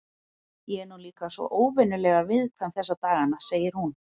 Ég er nú líka svo óvenjulega viðkvæm þessa dagana, segir hún.